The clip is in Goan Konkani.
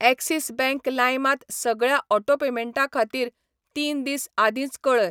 एक्सिस बँक लाइम त सगळ्या ऑटो पेमेंटां खातीर तीन दीस आदींच कऴय.